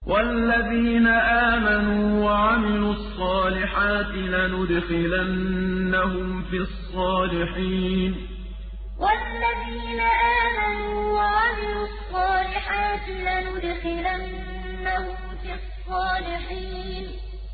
وَالَّذِينَ آمَنُوا وَعَمِلُوا الصَّالِحَاتِ لَنُدْخِلَنَّهُمْ فِي الصَّالِحِينَ وَالَّذِينَ آمَنُوا وَعَمِلُوا الصَّالِحَاتِ لَنُدْخِلَنَّهُمْ فِي الصَّالِحِينَ